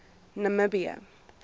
namibië